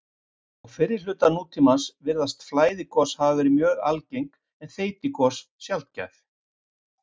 Á fyrri hluta nútímans virðast flæðigos hafa verið mjög algeng en þeytigos sjaldgæf.